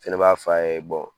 Fɛnɛ b'a f'a ye